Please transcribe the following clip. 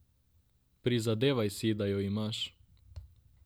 Prizadevaj si, da jo imaš.